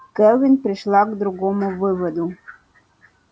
кэлвин пришла к другому выводу